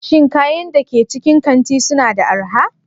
Shin kayan da ke cikin kanti suna da arha?